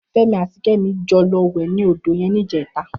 Femi àtí Kemi jò lò wè ninú ódó yèn nijètá